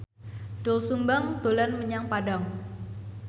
Doel Sumbang dolan menyang Padang